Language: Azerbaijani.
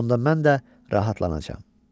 Onda mən də rahatlanacağam.